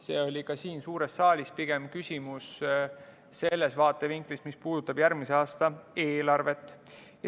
See oli siin suures saaliski pigem küsimus sellest vaatevinklist, mis puudutab järgmise aasta eelarvet.